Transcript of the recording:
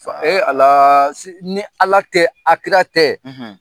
Fa Alaa si ni Ala tɛ a kira tɛ